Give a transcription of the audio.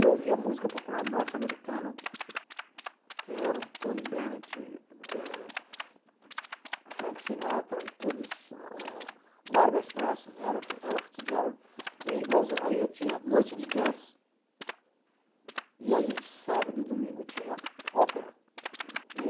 Eu ouvia música popular norte-americana, que eram Tony Bennett, eh Frank Sinatra e todos, ah Barbra Streisand, Ella Ella Fitzgerald, e aí eu tinha noite de jazz, e aí sábado e domingo tinha ópera.